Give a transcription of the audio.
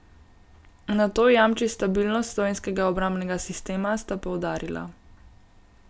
Nato jamči stabilnost slovenskega obrambnega sistema, sta poudarila.